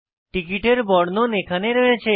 টিকিটের বর্ণন এখানে রয়েছে